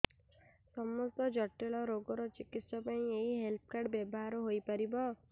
ସମସ୍ତ ଜଟିଳ ରୋଗର ଚିକିତ୍ସା ପାଇଁ ଏହି ହେଲ୍ଥ କାର୍ଡ ବ୍ୟବହାର ହୋଇପାରିବ